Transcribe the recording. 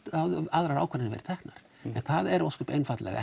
aðrar ákvarðanir verið teknar en það er ósköp einfaldlega